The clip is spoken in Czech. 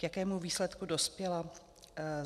K jakému výsledku dospěla?